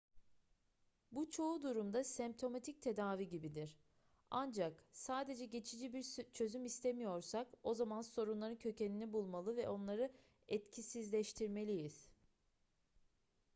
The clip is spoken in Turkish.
bu çoğu durumda semptomatik tedavi gibidir ancak sadece geçici bir çözüm istemiyorsak o zaman sorunların kökenini bulmalı ve onları etkisizleştirmeliyiz